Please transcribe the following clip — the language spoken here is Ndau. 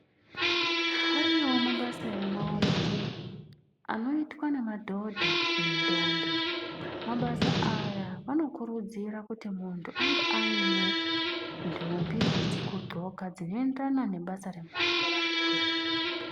Ariyoo mabasa emaoko anoitwa ngemadhodha nendombi mabasa aya anokurudzira kuti muntu ange aine nhumbi dzekudxoka dzinoenderana nebasa remaoko raari kuita.